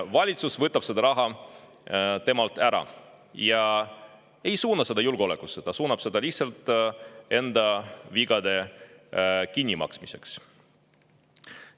Valitsus võtab selle raha temalt ära ja ei suuna seda julgeolekusse, ta suunab selle lihtsalt enda vigade kinnimaksmiseks.